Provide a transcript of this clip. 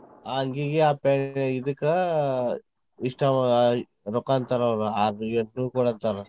ಅಂಗಿಗೆ, ಆ ಇದಕ್ ಇಷ್ಟ್ ರೊಕ್ಕಾ ಅಂತಾರ ಅವ್ರ್ ಆರ್ನೂರ್ ಎಂಟ್ನೂರ್ ಕೊಡಂತಾರ್.